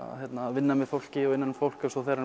vinna með fólki og innan um fólk og svo þegar hann